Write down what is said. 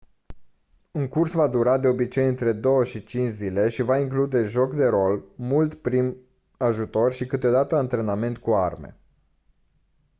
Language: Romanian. un curs va dura de obicei între 2-5 zile și va include joc de rol mult prim ajutor și câteodată antrenament cu arme